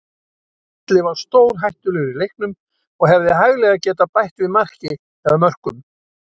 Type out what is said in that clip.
Atli var stórhættulegur í leiknum og hefði hæglega getað bætt við marki eða mörkum.